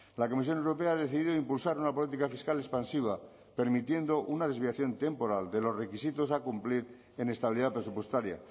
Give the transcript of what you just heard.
la comisión europea ha decidido impulsar una política fiscal expansiva permitiendo una desviación temporal de los requisitos a cumplir en estabilidad presupuestaria